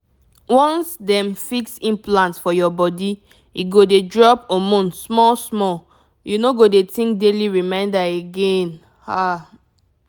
once dem fix implant for your body e go dey drop hormone small-small — you no go dey think daily reminder again… ah!